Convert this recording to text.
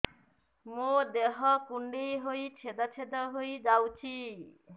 ମୋ ଦେହ କୁଣ୍ଡେଇ ହେଇ ଛେଦ ଛେଦ ହେଇ ଯାଉଛି